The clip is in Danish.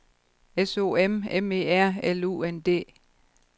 S O M M E R L U N D